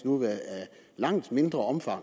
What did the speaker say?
langt mindre omfang